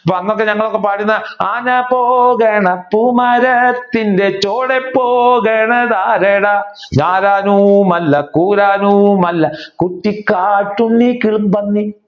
പാടുന്ന ആനപോകണം പൂമരത്തിന്റെ ചുവടെ പോകുന്നത് ആരെടാ കുട്ടിക്കാട്ടുണ്ണി